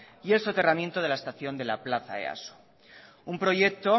y el soterramiento de la estación de la plaza easo un proyecto